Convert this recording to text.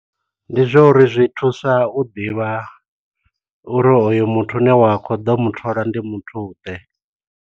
Ndi zwa uri zwi thusa u ḓivha uri hoyo muthu u ne wa khou ḓo muthola ndi muthu ḓe.